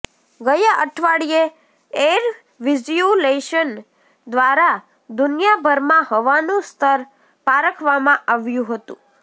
ગયા અઠવાડિયે ઐરવિઝયુલેશન ઘ્વારા દુનિયાભરમાં હવાનું સ્તર પારખવામાં આવ્યું હતું